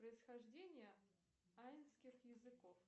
происхождение айнских языков